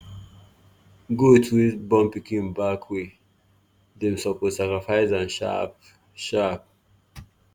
goat wey born pikin back way suppose dem sacrifice am sharp sharp.